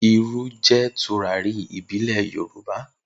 Iru jẹ turari ìbílẹ̀ Yorùbá